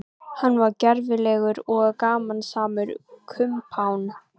Hann var gervilegur og gamansamur kumpán.